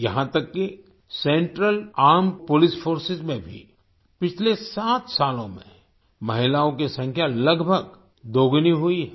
यहां तक कि सेंट्रल आर्मेड पोलिस फोर्सेस में भी पिछले सात सालों में महिलाओं की संख्या लगभग दोगुनी हुई है